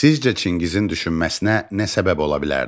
Sizcə Çingizin düşünməsinə nə səbəb ola bilərdi?